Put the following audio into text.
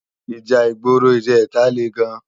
Íjà igbóró ijètá lé gán